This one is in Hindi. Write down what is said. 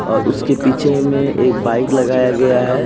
और उसके पीछे एक बाइक लगाया गया है।